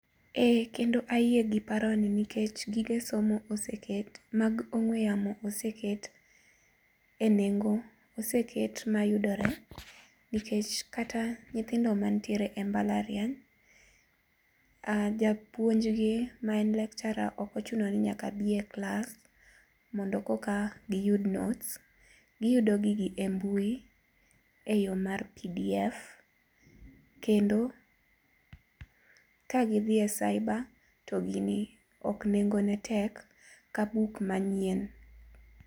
Eee kendo ayie gi paroni nikech gige somo oseket mag ong'ue yamo oseket enengo oseket mayudore, nikech kata nyithindo mantiere e mbalariany, japuonj gi ma en lecturer ok ochuno ni nyaka bi e klas koro eka giyud notes 5cs6. Giyudo gigi e mbui eyo mar pdf, kendo ka gidhi e cybre to ok nengone tek ka buk manyien.